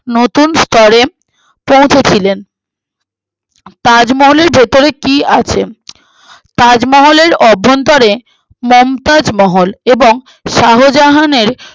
নতুন স্তরে পৌঁছে ছিলেন তাজমহলের ভেতরে কি আছে তাজমহলের অভ্যন্তরে মমতাজ মহল এবং শাহজাহানের